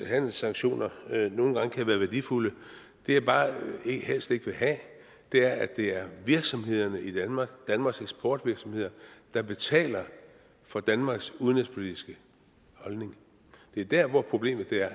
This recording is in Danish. at handelssanktioner nogle gange kan være værdifulde det jeg bare helst ikke vil have er at det er virksomhederne i danmark danmarks eksportvirksomheder der betaler for danmarks udenrigspolitiske holdning det er der hvor problemet er